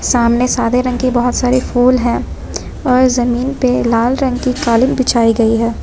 सामने सादे रंग की बहोत सारी फूल हैं और जमीन पे लाल रंग की कालीन बिछाई गई हैं।